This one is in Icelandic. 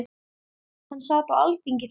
Hann sat á Alþingi fyrir